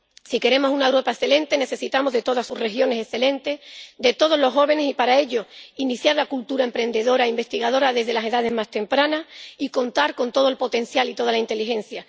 Si queremos una Europa excelente, necesitamos de todas sus regiones excelentes, de todos los jóvenes y, para ello, es necesario iniciar la cultura emprendedora e investigadora desde las edades más tempranas y contar con todo el potencial y toda la inteligencia.